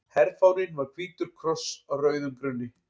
Herfáninn var hvítur kross á rauðum grunni.